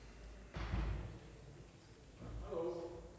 det for